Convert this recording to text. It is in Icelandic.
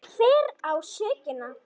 Hver á sökina?